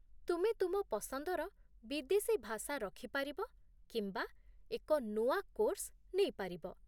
ତୁମେ ତୁମ ପସନ୍ଦର ବିଦେଶୀ ଭାଷା ରଖିପାରିବ କିମ୍ବା ଏକ ନୂଆ କୋର୍ସ ନେଇପାରିବ